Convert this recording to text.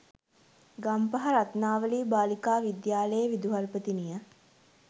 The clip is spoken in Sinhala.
ගම්පහ රත්නාවලී බාලිකා විද්‍යාලයේ විදුහල්පතිනිය